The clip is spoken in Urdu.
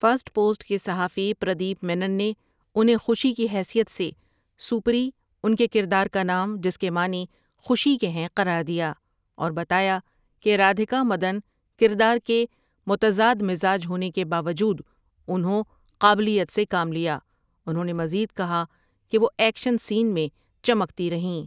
فرسٹ پوسٹ کے صحافیی پردیپ مینن نے انہیں خوشی کی حیثیت سے سوپری ان کے کردار کا نام جس کے معنی خوشی کے ہیںٕ قرار دیا اور بتایا کہ رادھیکا مدن کردار کے متضاد مزاج ہونے کے باوجود انہوں قابلیت سے کام لیا انہوں نے مزید کہا کہ وہ ایکشن سین میں چمکتی رہیں۔